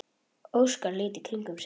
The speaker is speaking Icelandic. Óskar leit í kringum sig.